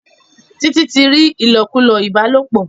Títí ti rí ilokulo ìbálòpọ̀